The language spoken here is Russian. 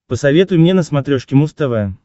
посоветуй мне на смотрешке муз тв